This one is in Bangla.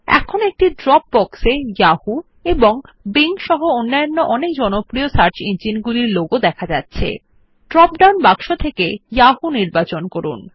এখন একটি ড্রপ বক্স এ যাহু এবং বিং সহ সবচেয়ে জনপ্রিয় সার্চ ইঞ্জিন গুলির লোগো প্রদর্শিত হচ্ছে ড্রপ ডাউন বক্স থেকে যাহু নির্বাচন করুন